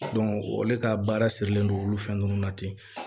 olu ka baara sirilen don olu fɛn nunnu na ten